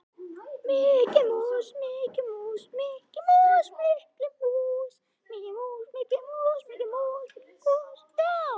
Katrína, syngdu fyrir mig „Meira En Nóg“.